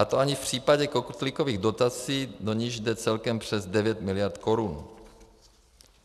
A to ani v případě kotlíkových dotací, do nichž jde celkem přes 9 miliard korun.